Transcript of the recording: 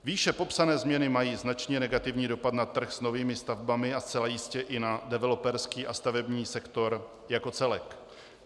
Výše popsané změny mají značně negativní dopad na trh s novými stavbami a zcela jistě i na developerský a stavební sektor jako celek.